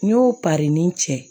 N y'o pari ni cɛ